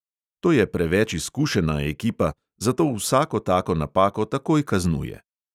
To je preveč izkušena ekipa, zato vsako tako napako takoj kaznuje.